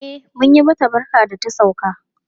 E, mun yi mata barka da ta sauka.